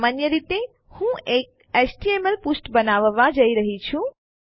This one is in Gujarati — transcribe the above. સામાન્ય રીતે હું એક એચટીએમએલ પૃષ્ઠ બનાવવા જઈ રહી છું